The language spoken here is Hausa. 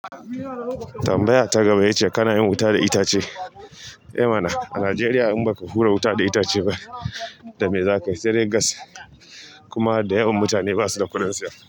Tambaya ta gaba ita ce kana yin wuta da itace? Eh mana a Najeriya in baka hura wuta da itace ba da me za kayi. Sai dai gas kuma da yawan mutane ba su da kuɗin siyar.